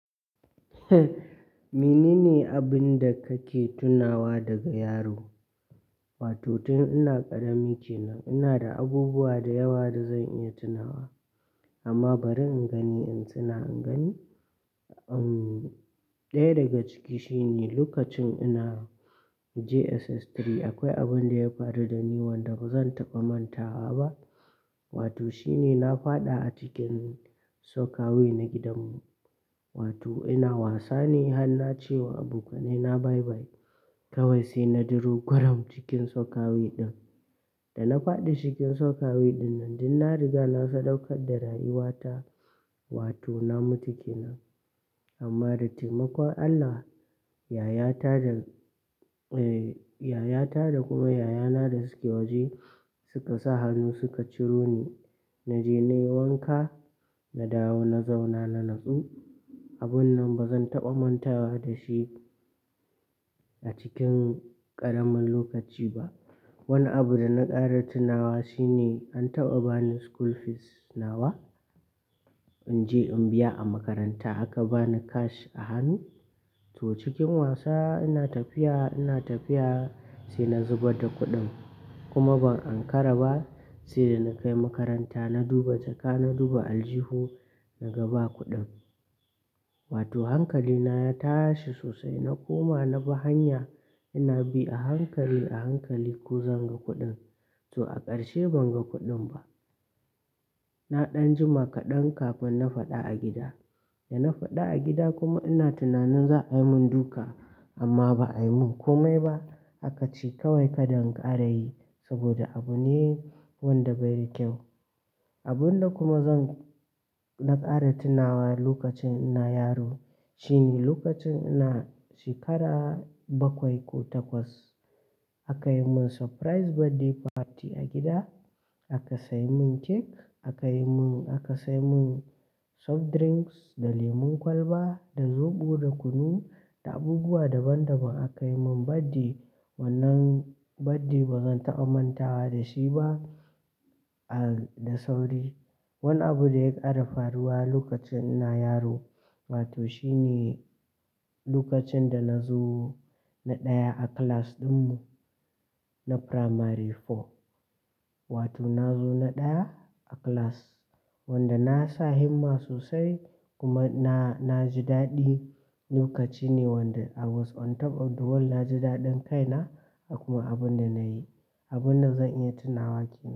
Menene abinda kake tunawa daga yaro? Wato tun ina ƙarami kenan, ina da abubuwa da yawa da zan iya tunawa. Amma bari in gani in tuna, in gani, ɗaya daga ciki shine lokacin ina JSS3 akwai abin da ya faru da ni wanda bazan taɓa mantawa ba. Wato shine na faɗa a cikin soakaway na gidanmu. Wato ina wasa ne har na ce wa abokaina bye bye. Kawai sai na diro gwaram cikin soakaway ɗin. Da na faɗi cikin soakaway ɗinnan, duk na riga na sadaukar da rayuwata. Wato na mutu kenan. Amma da taimakon Allah, yayata da, yayata da kuma yayana da suke waje suka sa hannu suka ciro ni. Na je na yi wanka, na dawo na zauna na natsu. Abun nan bazan taɓa mantawa da shi a cikin ƙaramin lokaci ba. Wani abu da na ƙara tunawa shine an taɓa bani school fees nawa in je in biya a makaranta aka bani cash a hannu. To cikin wasa ina tafiya, ina tafiya sai na zubar da kuɗin kuma ban ankara ba. Sai da na kai makaranta na duba jaka, na duba aljihun na ga ba kuɗin. Wato hankalina ya tashi sosai na koma na bi hanya ina bi a hankali, a hankali ko zan ga kuɗin. To a ƙarshe ban ga kuɗin ba. Na ɗan jima kaɗan kafin na faɗa a gida. Da na faɗi a gida kuma ina tunanin za a yi mun duka amma ba a yi mun komai ba. Aka ce kawai kada in ƙara yi saboda abu ne wanda bai da kyau. Abun da kuma zan-- na ƙara tunawa lokacin ina yaro shine lokacin ina shekara bakwai ko takwas. Aka yi mun surprise birthday party a gida, aka sayi mun cake aka yi mun-- aka sayi mun soft drinks da lemon kwalba, da zoɓo, da kunu da abubuwa daban daban aka yi mun birthday. Wannan birthday bazan taɓa mantawa da shi ba, da sauri. Wani abu da ya ƙara faruwa lokacin ina yaro, wato shine lokacin da na zo na ɗaya a class ɗinmu na primary four. Wato na zo na ɗaya a class wanda na sa himma sosai kuma na, na ji daɗi. Lokaci ne wanda I was on top of the world. Na ji daɗin kaina a kuma abun da na yi. Abun da zan iya tunawa kenan.